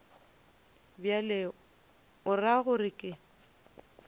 bjalo o ra gore ke